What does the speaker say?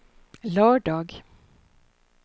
lördag